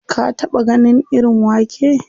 Ka taɓa ganin irin wake?